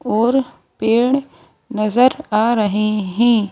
और पेड़ नजर आ रहे हैं।